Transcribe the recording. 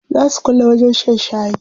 Zaa su kulle wajen shan shayi.